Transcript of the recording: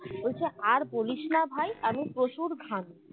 বলছে আর বলিস না ভাই আমি প্রচুর ঘামি